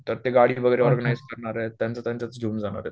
तर ते गाडी वगैरे ऑर्गनाइज करणारे त्यांच त्यांचं घेऊन जाणार आहेत